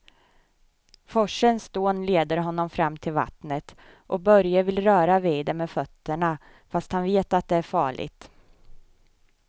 Forsens dån leder honom fram till vattnet och Börje vill röra vid det med fötterna, fast han vet att det är farligt.